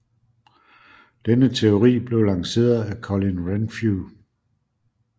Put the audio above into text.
Denne teori blev lanceret af Colin Renfrew